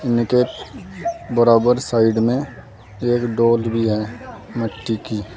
इनके बराबर साइड में एक डालज भी हैं मिट्टी की।